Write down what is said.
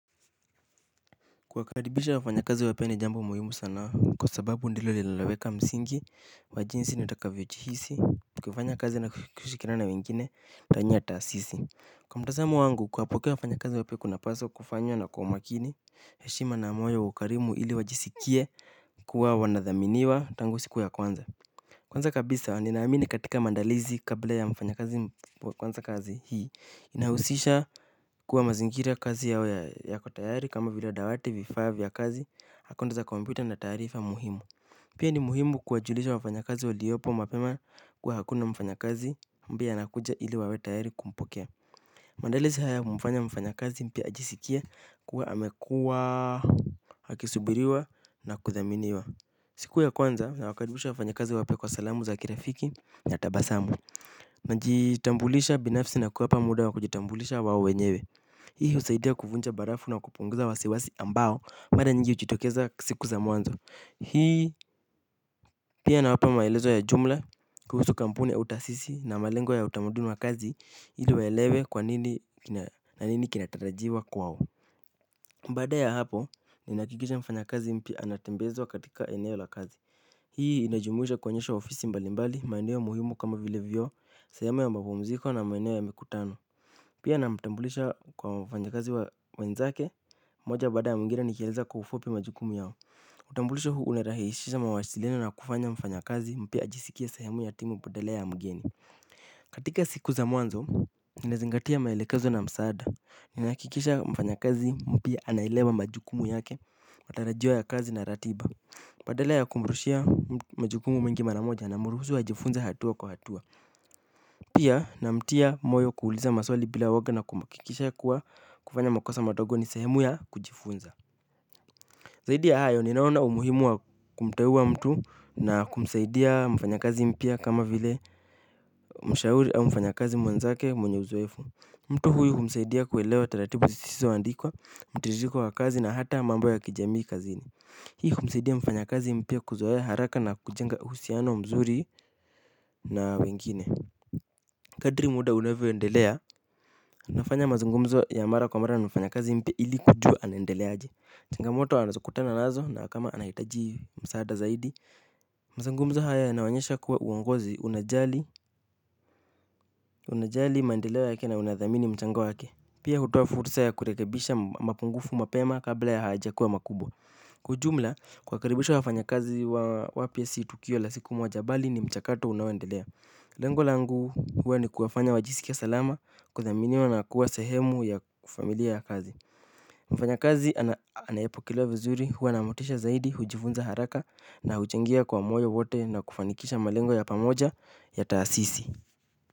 Kuwakaribisha wafanyakazi wapya ni jambo muhimu sanaa kwa sababu ndio linaloweka msingi wa jinsi nitakavyojihisi kufanya kazi na kushikiriana na wengine ndani ya taasisi. Kwa mtazamo wangu kuwapokea wafanyakazi wapya kunapaswa kufanywa na kwa umakini heshima na moyo wa ukarimu ili wajisikie kuwa wanadhaminiwa tangu siku ya kwanza. Kwanza kabisa ninaamini katika mandalizi kabla ya mfanyakazi kwanza kazi hii inahusisha kuwa mazingira kazi yao yako tayari kama vila dawati vifaa vya kazi akaunti za kompyuta na taarifa muhimu. Pia ni muhimu kuwajulisha wafanyakazi waliopo mapema kuwa kuna mfanyakazi ambae anakuja ili wawe tayari kumpokea. Maandalizi haya kumfanya mfanyakazi mpya ajisikie kuwa amekua akisubiriwa na kuthaminiwa. Siku ya kwanza nawakaribisha wafanyakazi wapya kwa salamu za kirafiki na tabasamu. Najitambulisha binafsi na kuwapa muda wa kujitambulisha wao wenyewe. Hii husaidia kuvunja barafu na kupunguza wasiwasi ambao mara nyingi hujitokeza siku za mwanzo. Hii pia nawapa maelezo ya jumla kuhusu kampuni au taasisi na malengo ya utamaduni wa kazi ili waelewe kwa nini na nini kinatarajiwa kwao baada ya hapo ninahakikisha mfanyakazi mpya anatembezwa katika eneo la kazi. Hii inajumuisha kuonyeshwa ofisi mbalimbali maeneo muhimu kama vile vyoo sehemu ya mapumziko na maeneo ya mikutano. Pia namtambulisha kwa wafanyakazi wenzake moja baada ya mwingine nikieleza kwa ufupi majukumu yao. Utambulisho huu unarahisiisha mawasiliano na kufanya mfanyakazi mpya ajisikie sehemu ya timu badala ya mgeni. Katika siku za mwanzo ninazingatia maelekezo na msaada. Ninahakikisha mfanyakazi mpya anaelewa majukumu yake matarajio ya kazi na ratiba badala ya kumrushia majukumu mengi mara moja namruhusu ajifunze hatua kwa hatua. Pia namtia moyo kuuliza maswali bila uoga na kuhakikisha kuwa kufanya makosa madogo ni sehemu ya kujifunza zaidi ya hayo ninaona umuhimu wa kumteua mtu na kumsaidia mfanyakazi mpya kama vile mshauri au mfanyakazi mwanzake mwenye uzoefu. Mtu huyu humsaidia kuelewa taratibu zisizoandikwa mtiririko wa kazi na hata mambo ya kijamii kazini. Hii kumsaidia mfanyakazi mpya kuzoea haraka na kujenga uhusiano mzuri na wengine. Kadri muda unavyoendelea, nafanya mazungumzo ya mara kwa mara na mfanya kazi mpya ili kujua anaendelea changamoto anazokutana nazo na kama anahitaji msaada zaidi. Mazungumzo haya yanaonyesha kuwa uongozi unajali, unajali maendeleo yake na unadhamini mchango yake. Pia hutoa fursa ya kurekebisha mapungufu mapema kabla ya hayajakua makubwa. Kwa ujumla kuwakaribisha wafanyakazi wa wapya si tukio la siku moja bali ni mchakato unaoendelea. Lengo langu huwa ni kuwafanya wajisikie salama kuthaminiwa na kuwa sehemu ya familia ya kazi. Mfanyakazi anaye pokelewa vizuri huwa na motisha zaidi hujifunza haraka na huchangia kwa moyo wote na kufanikisha malengo ya pamoja ya taasisi.